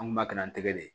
An kun b'a kɛ n tɛgɛ de